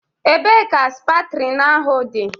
Ebee ka Septrin ahụ dị?